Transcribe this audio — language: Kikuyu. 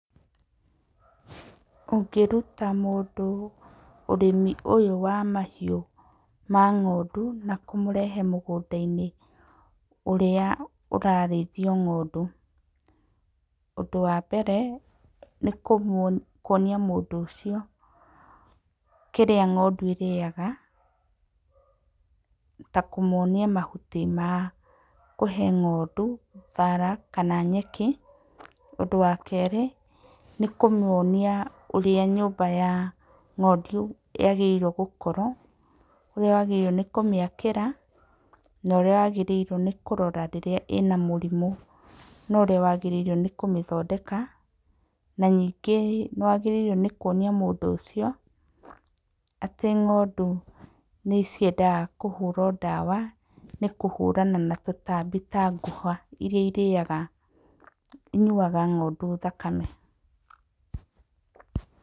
Ũngĩruta mũndũ ũrĩmi ũyũ wa mahiũ ma ng'ondu na kũmũrehe mũgũnda -inĩ ũrĩa ũrarĩthio ng'ondu. Ũndũ wa mbere nĩ kuonia mũndũ ũcio kĩrĩa ng'ondu ĩrĩaga ta kũmwonia mahuti ma kũhe ng'ondu ta thara kana nyeki. Ũndũ wa kere nĩ kũmonia ũrĩa nyũmba ya ng'ondu yagĩrĩirwo gũkorwo, ũrĩawagĩrĩirwo nĩ kũmiakĩra, no ũrĩawagĩrĩirwo nĩkũmĩrora rĩrĩa ĩna mĩrimũ no ũrĩa wagĩrĩirwo nĩkũmĩthondeka na ningĩ nĩwagĩrĩirwo kwonia mũndũ ũcio atĩ ng'ondu nĩciendaga kũhũrwo ndawa nĩ kũhũrana na tũtambi ta ngũha iria irĩaga, inyuaga ng'ondu thakame.